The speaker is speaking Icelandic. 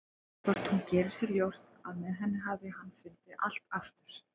Hvort hún geri sér ljóst að með henni hafi hann fundið allt aftur?